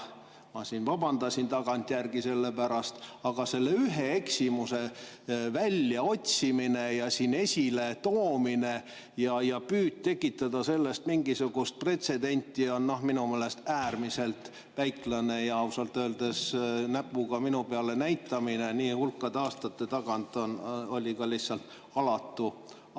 Ma vabandasin tagantjärgi selle pärast ja selle ühe eksimuse väljaotsimine ja siin esiletoomine ja püüd tekitada sellest mingisugust pretsedenti on minu meelest äärmiselt väiklane ja ausalt öeldes näpuga minu peale näitamine nii hulkade aastate tagant on lihtsalt alatu.